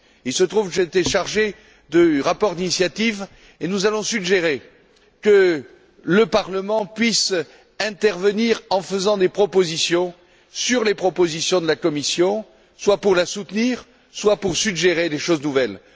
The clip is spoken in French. Il se trouve que j'ai été chargé du rapport d'initiative et nous allons suggérer que le Parlement puisse intervenir en faisant des propositions sur les propositions de la Commission, soit pour les soutenir, soit pour suggérer des choses nouvelles.